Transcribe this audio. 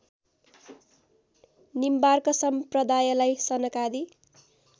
निम्बार्क सम्प्रदायलाई सनकादि